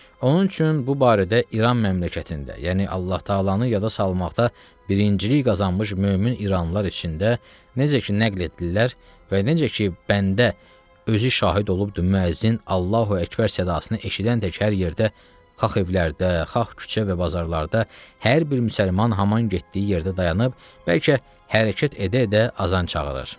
Onun üçün bu barədə İran məmləkətində, yəni Allah təalanı yada salmaqda birincilik qazanmış mömin İranlılar içində necə ki nəql etdilər və necə ki bəndə özü şahid olubdur, müəzzin "Allahu Əkbər" sadasını eşidən tək hər yerdə, xah evlərdə, xah küçə və bazarlarda hər bir müsəlman haman getdiyi yerdə dayanıb, bəlkə hərəkət edə-edə azan çağırır.